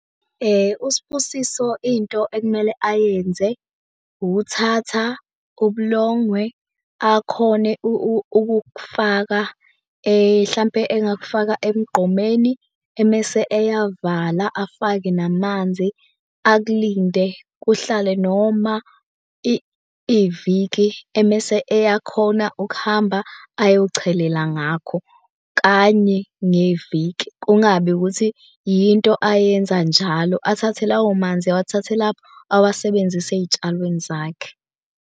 USbusiso into ekumele ayenze, ukuthatha ubulongwe akhone ukukufaka hlampe engakufaka emgqomeni, emese eyavala afake namanzi akulinde kuhlale noma iviki. Emese eyakhona ukuhamba ayochelela ngakho kanye ngeviki, kungabi ukuthi yinto ayenza njalo. Athathe lawo manzi awathathe lapho awasebenzise ey'tshalweni zakhe.